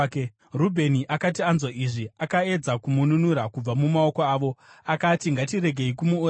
Rubheni akati anzwa izvi, akaedza kumununura kubva mumaoko avo. Akati, “Ngatiregei kumuuraya.